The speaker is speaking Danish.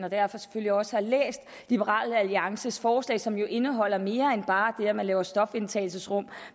og derfor selvfølgelig også har læst liberal alliances forslag som indeholder mere end bare det at man laver stofindtagelsesrum